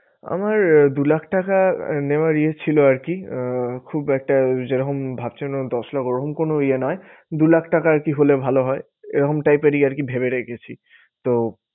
আমার দু লাখ টাকা নেওয়ার এ ছিল আর কি আহ খুব একটা যেরকম ভাবছেন দশ লাখ ওরকম কোনো ইয়ে নয়। দু লাখ টাকা আরকি হলে ভালো হয়। এরকম type এরই আরকি ভেবে রেখেছি। তো